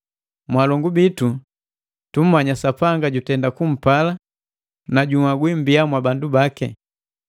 Mwalongu bitu, tumanya Sapanga jutenda kumpala na junhagwi mbia mwa bandu baki,